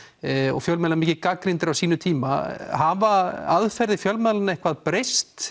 og fjölmiðlar mikið gagnrýndir á sínum tíma hafa aðferðir fjölmiðlanna eitthvað breyst